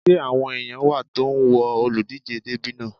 Ṣé àwọn èèyàn wà tó ń wo olùdíjé dẹ́bì náà?